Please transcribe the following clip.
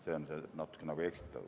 See on natuke eksitav.